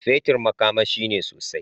Fetir makamashi ne sosai.